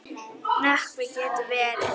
Nökkvi getur verið